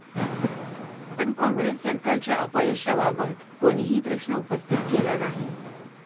पण काँग्रेस सरकारच्या अपयशाबाबत कोणीही प्रश्न उपस्थित केला नाही.